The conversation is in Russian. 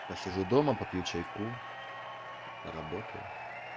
посижу дома попью чайку поработаю